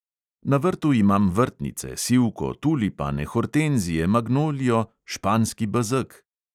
Na vrtu imam vrtnice, sivko, tulipane, hortenzije, magnolijo, španski bezeg ...